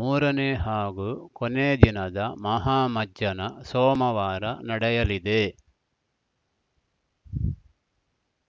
ಮೂರನೇ ಹಾಗೂ ಕೊನೇ ದಿನದ ಮಹಾಮಜ್ಜನ ಸೋಮವಾರ ನಡೆಯಲಿದೆ